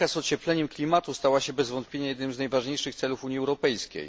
Walka z ociepleniem klimatu stała się bez wątpienia jednym z najważniejszych celów Unii Europejskiej.